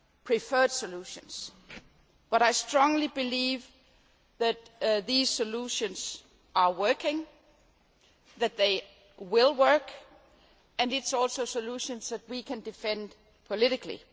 my preferred solutions, but I strongly believe that these solutions are working, that they will work, and they are also solutions that we can defend politically.